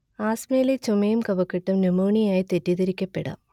ആസ്മയിലെ ചുമയും കഫക്കെട്ടും ന്യുമോണിയയായി തെറ്റിദ്ധരിക്കപ്പെടാം